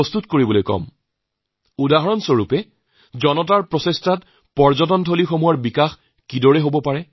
অৰ্থাৎ এক প্ৰকাৰ মানুহৰ অভিপ্ৰায়ৰ পৰা পৰ্যটন ক্ষেত্ৰৰ উন্নতি কেনেদৰে কৰা হয়